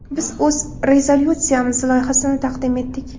Biz o‘z rezolyutsiyamiz loyihasini taqdim etdik.